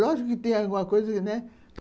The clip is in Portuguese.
Lógico que tem alguma coisa, né?